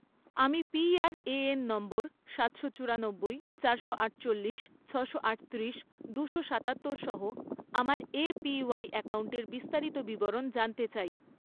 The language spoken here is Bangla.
আমি পিআরএএন নম্বর সাটশো চুরানব্বই, চারশো আটচল্লিশ, ছশো আটত্রিশ, দুশো সাতাত্তর সহ আমার এপিওয়াই অ্যাকাউন্টের বিস্তারিত বিবরণ জানতে চাই